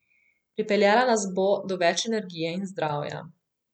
Pripeljala nas bo do več energije in zdravja.